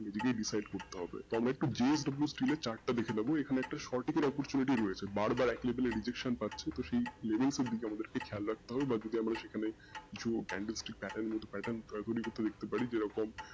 নিজেকে decide করতে হবে তবে একটু JWC এর chart টা দেখে নেবো এখানে একটা সঠিক oppertunity রয়েছে বারবার এক level এর rejection পাচ্ছি তো সেই label গুলো কিন্তু আমাদেরকে খেয়াল রাখতে হবে বা যদি আমরা সেখানে কিছু দেখতে পারি যেরকম,